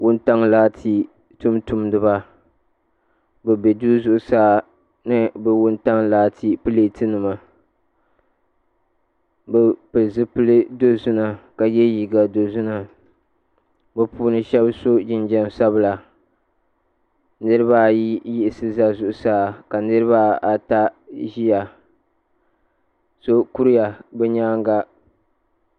Wuntaŋa laati tuuntumdiba bi bɛ duu zuɣusaa ni bi wuntaŋa laati pilati nima bi pili zipila dozima ka ye liiga dozima bi puuni shɛba so jinjam sabila niriba ayi yiɣisi za zuɣusaa ka niriba ata ziya so kuriya bi yɛanga.